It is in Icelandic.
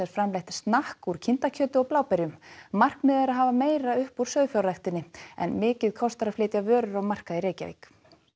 framleitt snakk úr kindakjöti og bláberjum markmiðið er að hafa meira upp úr sauðfjárræktinni en mikið kostar að flytja vörur á markað í Reykjavík